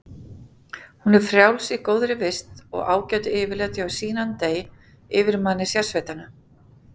Hún er frjáls í góðri vist og ágætu yfirlæti hjá Sinan dey, yfirmanni sérsveitanna.